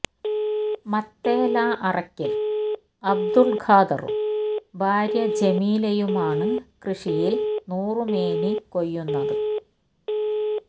മത്തേല അറയ്ക്കല് അബ്ദുല് ഖാദറും ഭാര്യ ജമീലയുമാണ് കൃഷിയില് നൂറുമേനി കൊയ്യുന്നത്